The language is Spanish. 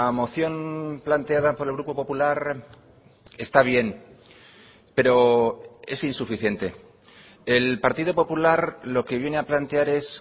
moción planteada por el grupo popular está bien pero es insuficiente el partido popular lo que viene a plantear es